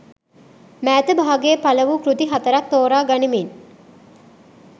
මෑත භාගයේ පළ වූ කෘති හතරක් තෝරා ගනිමින්